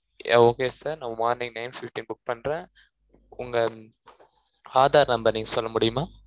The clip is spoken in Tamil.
yeah okay sir நான் morning nine fifteen book பன்றன் உங்க ஆதார் number நீங்க சொல்ல முடியுமா